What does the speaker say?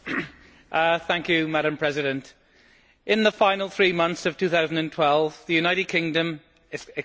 Madam President, in the final three months of 2012, the United Kingdom's economy shrank by